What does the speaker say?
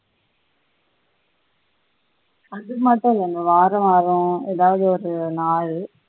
அது மாதிரி தான் வேணும்